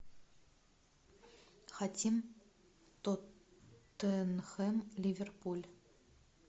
хотим тоттенхэм ливерпуль